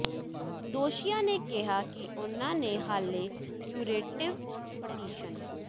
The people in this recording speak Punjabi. ਦੋਸ਼ੀਆਂ ਨੇ ਕਿਹਾ ਕਿ ਉਨ੍ਹਾਂ ਨੇ ਹਾਲੇ ਕਿਊਰੇਟਿਵ ਪਟੀਸ਼ਨ